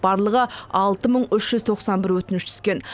барлығы алты мың үш жүз тоқсан бір өтініш түскен